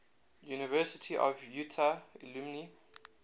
university of utah alumni